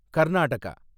Karnataka